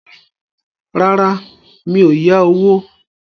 Rárá, mi ò yá owó